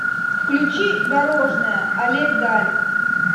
включи дорожная олег даль